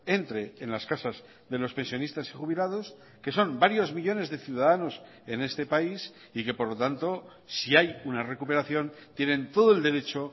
entre en las casas de los pensionistas y jubilados que son varios millónes de ciudadanos en este país y que por lo tanto si hay una recuperación tienen todo el derecho